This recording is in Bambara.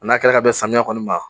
N'a kɛra ka bɛn samiyɛ kɔni ma